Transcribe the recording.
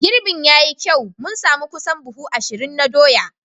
Girbin ya yi kyau, mun sami kusan buhu ashirin na doya.